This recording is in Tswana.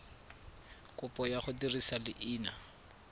kopo ya go dirisa leina